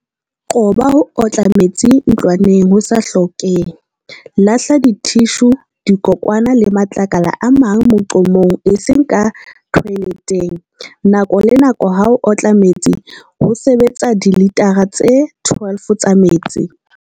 Qoba ho otla metsi ntlwaneng ho sa hlokehe. Lahla dithishu, dikokwana le matlakala a mang moqomong eseng ka thoeletheng. Nako le nako ha o otla metsi ho sebetsa dilitara tse 12 tsa metsi.